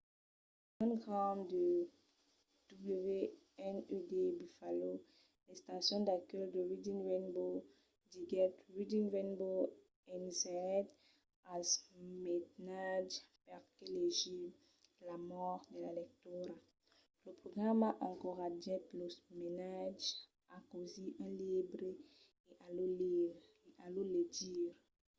john grant de wned buffalo l'estacion d'acuèlh de reading rainbow diguèt: reading rainbow ensenhèt als mainatges perqué legir,... l'amor de la lectura — [lo programa] encoratgèt los mainatges a causir un libre e a lo legir.